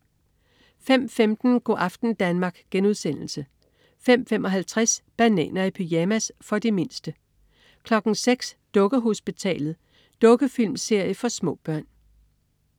05.15 Go' aften Danmark* 05.55 Bananer i pyjamas. For de mindste 06.00 Dukkehospitalet. Dukkefilmserie for små børn